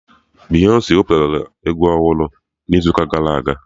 Beyonsi wepụtara egwu ọhụrụ n'izu gara aga